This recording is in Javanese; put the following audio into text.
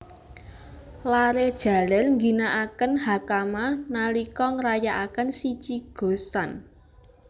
Laré jaler ngginakaken Hakama nalika ngrayakaken Shichi Go San